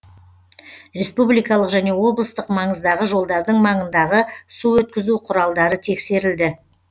республикалық және облыстық маңыздағы жолдардың маңындағы су өткізу құралдары тексерілді